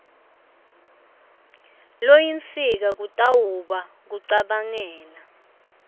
loyinsika kutawuba kucabangela